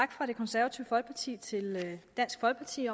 fra det konservative folkeparti til dansk folkeparti